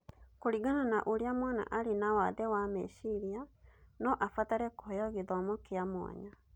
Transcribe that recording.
Kũringana na ũrĩa mwana arĩ na wathe wa meciria, no abatare kũheo gĩthomo kĩa mwanya.